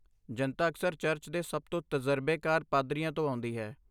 ਜਨਤਾ ਅਕਸਰ ਚਰਚ ਦੇ ਸਭ ਤੋਂ ਤਜਰਬੇਕਾਰ ਪਾਦਰੀਆਂ ਤੋਂ ਆਉਂਦੀ ਹੈ।